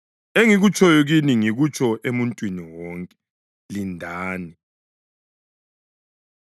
Engikutshoyo kini ngikutsho emuntwini wonke: ‘Lindani!’ ”